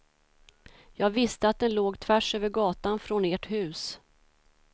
Jag visste att den låg tvärs över gatan från ert hus.